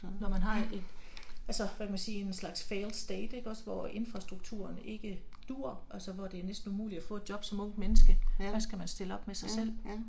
Når man har et altså hvad kan man sige, en slags failed state ikke også, hvor infrastrukturen ikke duer, altså hvor det er næsten umuligt at få et job som ungt menneske, hvad skal man så stille op med sig selv?